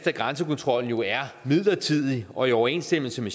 at grænsekontrollen jo er midlertidig og i overensstemmelse med